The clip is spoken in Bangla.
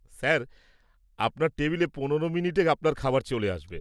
স্যার, আপনার টেবিলে পনেরো মিনিটে আপনার খাবার চলে আসবে।